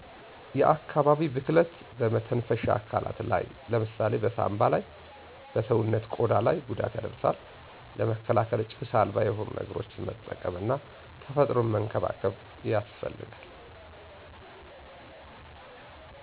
የአካባቢ ብክለት በመተንፈሻ አካላት ላይ ለምሳሌ በሳምባ ላይ እና በሰዉነት ቆዳ ላይ ጉዳት ያደርሳል ለመከላከል ጭስ አልባ የሆኑ ነገሮችን መጠቀም እና ተፈጥሮን መንከባከብ ያስፈልጋል።